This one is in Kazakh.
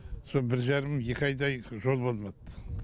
сол бір жарым екі айдай жол болмад